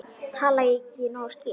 Talaði ég ekki nógu skýrt?